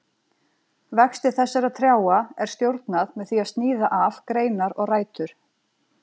Vexti þessara trjáa er stjórnað með því að sníða af greinar og rætur.